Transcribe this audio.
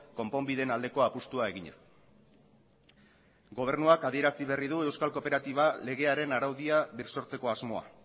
konponbideen aldeko apustua eginez gobernuak adierazi berri du euskal kooperatiba legearen araudia birsortzeko asmoa